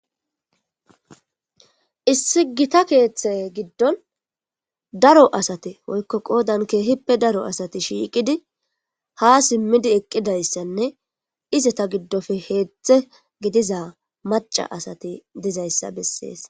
Issi gita keeththe giddon daro asate oykko qoodan keehippe daro asati shiiqidi ha simmidi eqqidayssanne ize ta giddofe heedzdze gidiza maca asati dizayssa bessees.